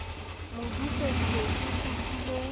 modise ke se ke kopile